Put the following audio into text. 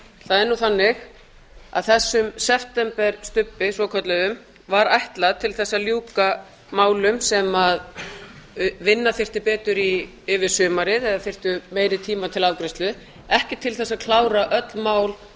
það er nú þannig að þessi septemberstubbur svokallaður var ætlaður til þess að ljúka málum sem vinna þyrfti betur í yfir sumarið eða við þyrftum meiri tíma til afgreiðslu ekki til þess að klára öll mál